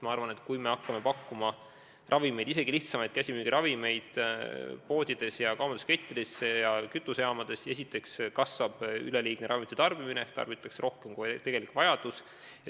Ma arvan, et kui hakkame pakkuma ravimeid, isegi lihtsamaid käsimüügiravimeid, poodides ja kaubanduskettides ja kütusejaamades, siis esiteks kasvab üleliigne ravimite tarbimine ehk tarbitakse rohkem, kui on tegelik vajadus.